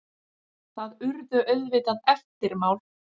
Það urðu auðvitað eftirmál.